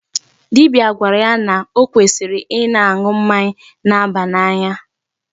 Dibia gwara yá nà ọ kwesịrị ịna-aṅụ mmanya na-aba n'anya.